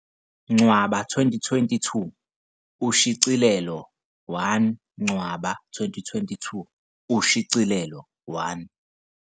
Ncwaba 2022 Ushicilelo 1 Ncwaba 2022 Ushicilelo 1